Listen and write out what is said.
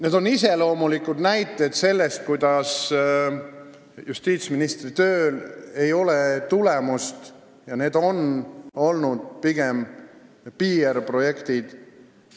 Need on iseloomulikud näited selle kohta, et justiitsministri tööl ei ole tulemust ja need on olnud pigem PR-projektid.